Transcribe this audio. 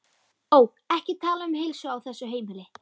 Ó, ekki tala um heilsu á þessu heimili.